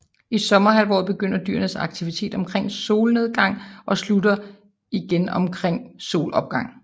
I sommerhalvåret begynder dyrenes aktivitet omkring solnedgang og slutter omkring solopgang